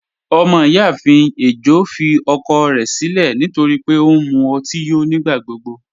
Ọmọ-iyáafin ẹ̀jọ́ fì ọ̀kọ̀ rẹ̀ sílẹ̀ nítorí pẹ̀ ọ̀ n mú òtí yó nígbàgbọ̀gbọ